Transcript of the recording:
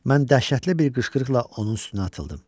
Mən dəhşətli bir qışqırıqla onun üstünə atıldım.